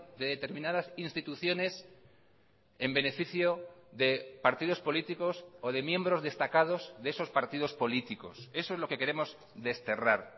de determinadas instituciones en beneficio de partidos políticos o de miembros destacados de esos partidos políticos eso es lo que queremos desterrar